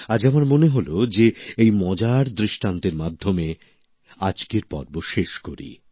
আজ আমার মনে হল যে এই মজার দৃষ্টান্তের মাধ্যমে আজকের পর্ব শেষ করি